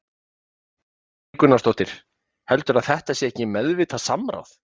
Kristín Ýr Gunnarsdóttir: Heldurðu að þetta sé ekki meðvitað samráð?